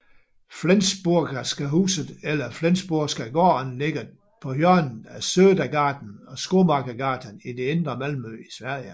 Flensburgska huset eller Flensburgska gården ligger på hjørnet af Södergatan og Skomakeregatan i det indre Malmø i Sverige